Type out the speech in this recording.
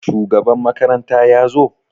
Shugaban makaranta ya zo?